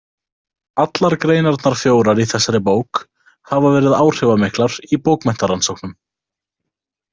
Allar greinarnar fjórar í þessari bók hafa verið áhrifamiklar í bókmenntarannsóknum.